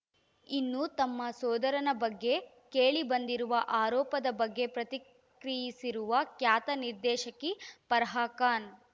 ಇನ್ನು ತಮ್ಮ ಸೋದರನ ಬಗ್ಗೆ ಕೇಳಿಬಂದಿರುವ ಆರೋಪದ ಬಗ್ಗೆ ಪ್ರತಿಕ್ರಿಯಿಸಿರುವ ಖ್ಯಾತ ನಿರ್ದೇಶಕಿ ಫರ್ಹಾ ಖಾನ್‌